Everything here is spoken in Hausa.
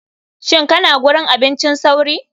Shin kana gurin abincin sauri.